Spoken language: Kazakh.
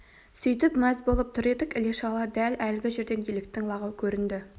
сөйтіп мәз болып тұр едік іле-шала дәл әлгі жерден еліктің лағы көрінді